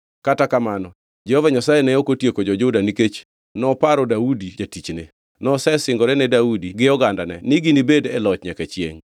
Kata kamano, Jehova Nyasaye ne ok otieko jo-Juda nikech noparo Daudi jatichne. Nosesingore ne Daudi gi ogandane ni ginibed e loch nyaka chiengʼ.